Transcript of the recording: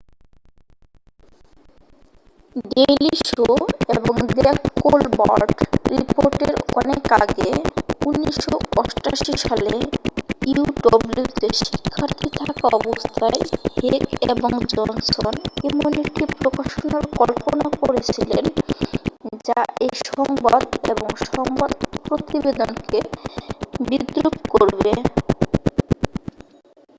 daily Show এবং the Colbert রিপোর্টের অনেক আগে 1988 সালে uw তে শিক্ষার্থী থাকা অবস্থায় হেক এবং জনসন এমন একটি প্রকাশনার কল্পনা করেছিলেন যা এই সংবাদ এবং সংবাদ প্রতিবেদনকে বিদ্রূপ করবে